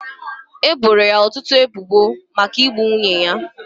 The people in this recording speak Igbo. E boro ya ọtụtụ ebubo maka igbu nwunye ya.